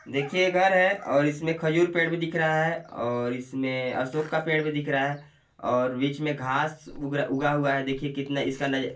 देखिये ये घर हैं और इसमें खजूर पेड भी दिख रहा हैं और इसमें अशोक का पेड़ भी दिख रहा हैं और बीच में घास उगा हुआ हैं देखिए कितना इसका ना--